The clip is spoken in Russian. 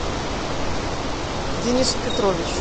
денису петровичу